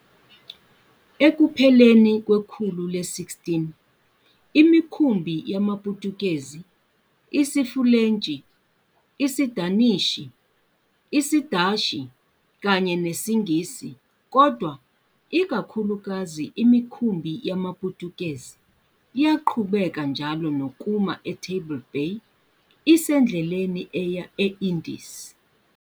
Ekupheleni kwekhulu le-16, imikhumbi yamaPutukezi, isiFulentshi, isiDanishi, isiDashi kanye nesiNgisi kodwa ikakhulukazi imikhumbi yamaPutukezi yaqhubeka njalo nokuma eTable Bay isendleleni eya e-Indies.